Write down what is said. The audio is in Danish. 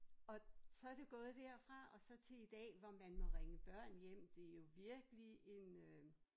Og så det gået derfra og så til i dag hvor man må ringe børn hjem det jo virkelig en øh